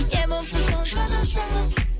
не болса соны жаза салып